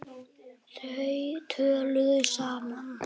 Þau töluðu saman.